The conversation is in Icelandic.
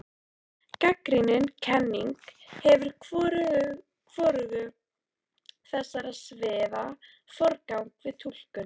Gagnrýnin kenning gefur hvorugu þessara sviða forgang við túlkun.